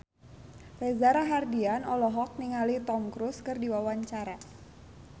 Reza Rahardian olohok ningali Tom Cruise keur diwawancara